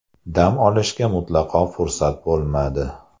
Dam olishga mutlaqo fursat bo‘lmadi.